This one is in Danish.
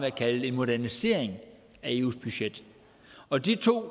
at kalde en modernisering af eus budget og de to